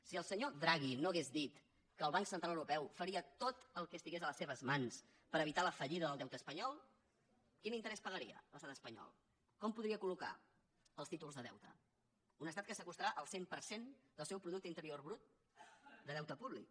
si el senyor draghi no hagués dit que el banc central europeu faria tot el que estigués a les seves mans per evitar la fallida del deute espanyol quin interès pagaria l’estat espanyol com podria col·locar els títols de deute un estat que s’acostarà al cent per cent del seu producte interior brut de deute públic